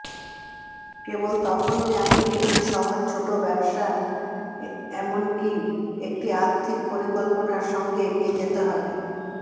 কেবল তখনই আপনি একটি সহজ ছোট ব্যবসা এমনকি একটি আর্থিক পরিকল্পনা সঙ্গে এগিয়ে যেতে হবে